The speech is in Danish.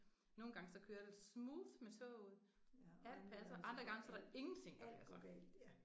Nogle gange så kører det smooth med toget alt passer andre gange så er der ingenting der passer